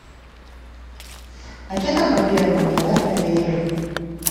а что там по первому давай проверим